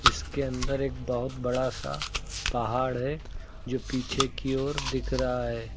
इसके अंदर एक बहुत बड़ा सा पहाड़ है जो पीछे की ओर दिख रहा है।